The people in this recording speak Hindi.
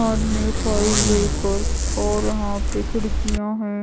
में फाइल लेकर और यहाँ पे खिड़कियाँ हैं।